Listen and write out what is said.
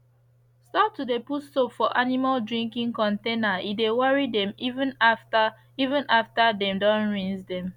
stop to de put soap for animal drinking containere de worry dem even after even after dem don rinse dem